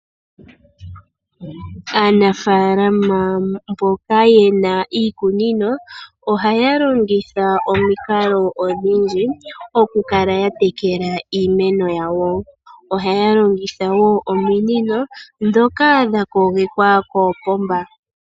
Aanafalama mboka ye na iikunino, ohaya longitha omikalo odhindji okukala ya tekela iimeno yawo. Ohaya longitha wo ominino dhoka dha kogekwa koopomba.